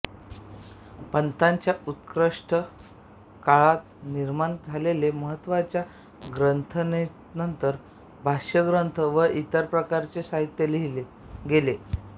पंथाच्या उत्कर्षकाळात निर्माण झालेल्या महत्त्वाच्या ग्रंथरचनेनंतर भाष्यग्रंथ व इतर प्रकारचे साहित्य लिहिले गेले